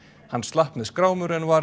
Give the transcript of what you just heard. hann slapp með skrámur en var